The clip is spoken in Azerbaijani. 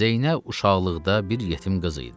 Zeynəb uşaqlıqda bir yetim qız idi.